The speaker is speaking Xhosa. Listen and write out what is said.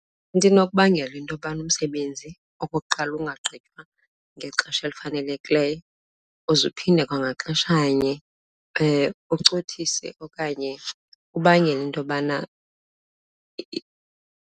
Into enokubangela into yobana umsebenzi okokuqala ungagqitywa ngexesha elifanelekileyo uze uphinde kwangaxeshanye ucothise okanye ubangela into yobana .